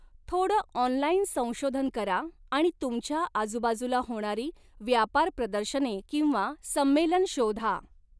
थोडं ऑनलाइन संशोधन करा आणि तुमच्या आजूबाजूला होणारी व्यापार प्रदर्शने किंवा संमेलन शोधा.